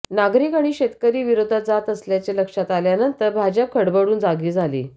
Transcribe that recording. नागरिक आणि शेतकरी विरोधात जात असल्याचे लक्षात आल्यानंतर भाजप खडबडून जागी झाली